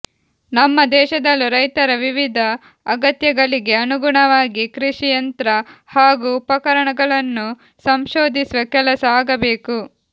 ನಮ್ಮ ದೇಶದಲ್ಲೂ ರೈತರ ವಿವಿಧ ಅಗತ್ಯಗಳಿಗೆ ಅನುಗುಣವಾಗಿ ಕೃಷಿ ಯಂತ್ರ ಹಾಗೂ ಉಪಕರಣಗಳನ್ನು ಸಂಶೋಧಿಸುವ ಕೆಲಸ ಆಗಬೇಕು